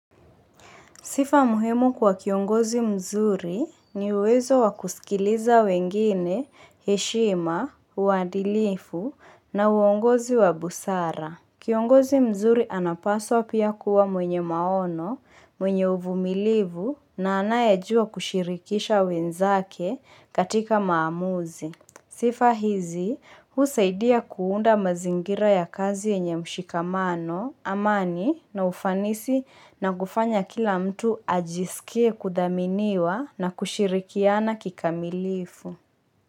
Sifa muhimu kwa kiongozi mzuri ni uwezo wa kusikiliza wengine, heshima, uadilifu na uongozi wa busara. Kiongozi mzuri anapaswa pia kuwa mwenye maono, mwenye uvumilivu na anayejua kushirikisha wenzake katika maamuzi. Sifa hizi, husaidia kuunda mazingira ya kazi yenye mshikamano amani na ufanisi na kufanya kila mtu ajisikie kudhaminiwa na kushirikiana kikamilifu.